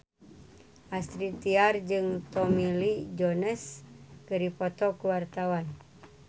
Astrid Tiar jeung Tommy Lee Jones keur dipoto ku wartawan